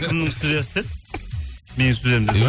кімнің студиясы деді менің студиям деді ма